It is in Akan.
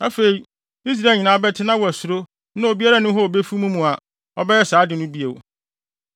Afei, Israel nyinaa bɛte na wɔasuro na obiara nni hɔ a obefi mo mu a, ɔbɛyɛ saa ade no bio.